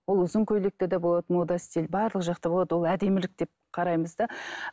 ол ұзын көйлекті те болады мода стиль барлық жақты болады ол әдемілік деп қараймыз да